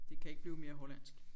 Det kan ikke blive mere hollandsk